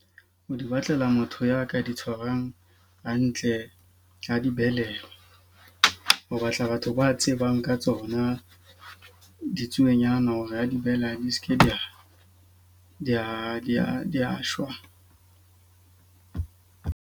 Ho di batlela motho ya ka di tshwarang hantle ja di beleha. Ho batla batho ba tsebang ka tsona ditsuonyana hore ha di behela di seke di a shwa.